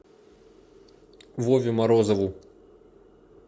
вове морозову